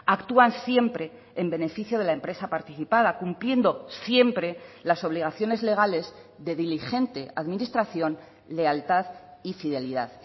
actúan siempre en beneficio de la empresa participada cumpliendo siempre las obligaciones legales de diligente administración lealtad y fidelidad